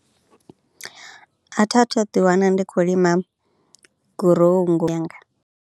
A thi a thu ḓiwana ndi khou lima gurowu yanga.